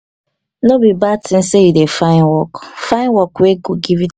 no be bad tin sey you dey find work find work wey go give.